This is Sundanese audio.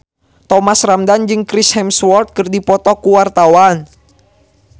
Thomas Ramdhan jeung Chris Hemsworth keur dipoto ku wartawan